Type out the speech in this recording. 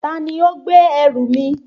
Ta ni ó gbé ẹrù mi?